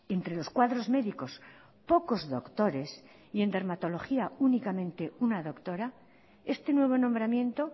entre los cuadros médicos pocos doctores y en dermatología únicamente una doctora este nuevo nombramiento